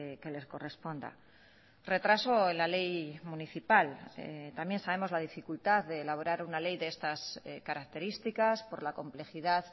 que les corresponda retraso en la ley municipal también sabemos la dificultad de elaborar una ley de estas características por la complejidad